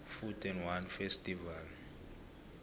food and wine festival